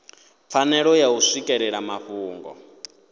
pfanelo ya u swikelela mafhungo